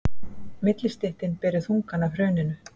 Millistéttin beri þungann af hruninu